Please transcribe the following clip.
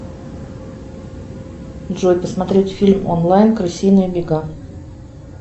джой посмотреть фильм онлайн крысиные бега